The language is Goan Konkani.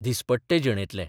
दिसपट्टे जिणेंतले.